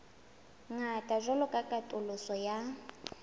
ngata jwalo ka katoloso ya